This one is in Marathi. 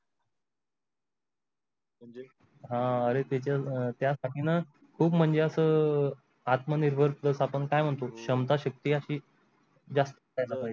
हा अरे ते तर त्यासाठी न खूप म्हणजे अस आत्म निर्भर जस आपण काय मानतो छामता सक्ती असी जास्त पाहिजे